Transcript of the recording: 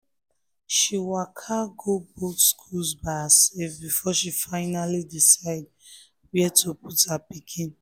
she waka go both schools by herself before she finally decide where to put her pikin